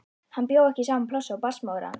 Hann bjó ekki í sama plássi og barnsmóðir hans.